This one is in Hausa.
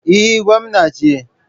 Eh, gwamna ce.